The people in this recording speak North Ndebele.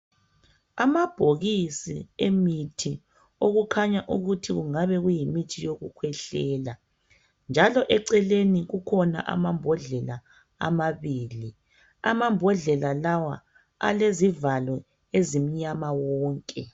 Amabhokisi emithi okukhanya ukuthi kungaba kuyimithi yokukhwehlela njalo eceleni kukhona amambodlela amabili alezivalo ezimnyama wonke.